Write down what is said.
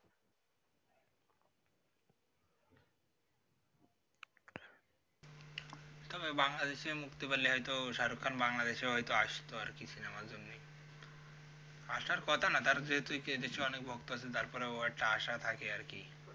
তবে বাংলাদেশে ও মুক্তি পেলে হইত shahrukh khan বাংলাদেশে হইত আসতো আরকি সিনেমার জন্যই আসার কথা না যেহেতু দেশে এ অনেক ভক্ত আছে তারপরও একটা আশা থাকে আরকি